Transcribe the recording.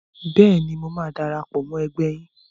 Bẹ́ẹ̀ni, mo máa darapọ̀ mọ́ ẹgbẹ́ yín.